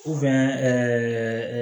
ɛɛ